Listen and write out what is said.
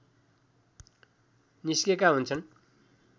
निस्केका हुन्छन्